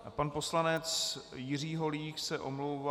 Pan poslanec Jiří Holík se omlouvá...